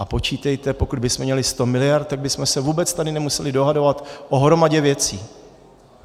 A počítejte, pokud bychom měli 100 miliard, tak bychom se vůbec tady nemuseli dohadovat o hromadě věcí.